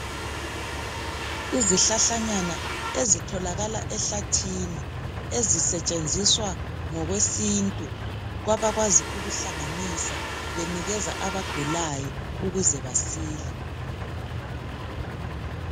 Izihlahlanyana ezitholakala ehlathini ezisetshenziswa ngokwesintu kwabakwazi ukuhlanganisa benikeza abagulayo ukuze basile